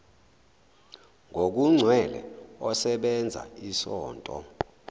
ngokugcwele osebenza isonto